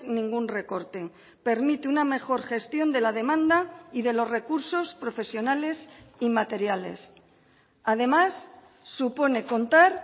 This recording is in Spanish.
ningún recorte permite una mejor gestión de la demanda y de los recursos profesionales y materiales además supone contar